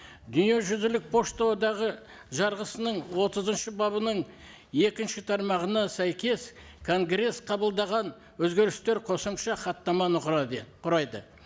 дүниежүзілік пошта одағы жарғысының отызыншы бабының екінші тармағына сәйкес конгресс қабылдаған өзгерістер қосымша хаттаманы құрайды